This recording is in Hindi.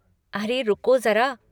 अरे, रुको जरा।